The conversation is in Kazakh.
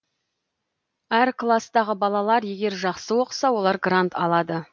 әр класстағы балалар егер жақсы оқыса олар грант алады